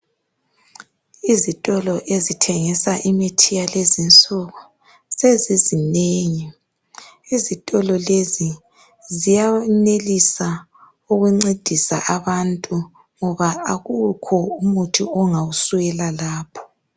izitolo ezithengisa imithi yakulezi insuku sezizinengi izitolo lezi ziyenilisa ukuncedisa abantu ngoba akula muthi ongawuswela lapho